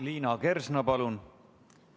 Liina Kersna, palun!